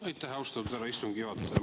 Aitäh, austatud härra istungi juhataja!